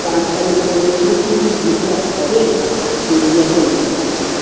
কাজটা যেটা বলছিলে তুমি যেটা হবে তো রিয়াকে লাগিয়ে দিতে